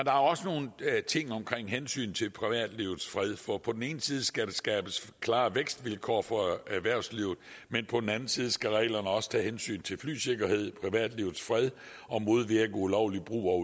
er også nogle ting omkring hensynet til privatlivets fred for på den ene side skal der skabes klare vækstvilkår for erhvervslivet men på den anden side skal reglerne også tage hensyn til flysikkerhed privatlivets fred og modvirke ulovlig brug af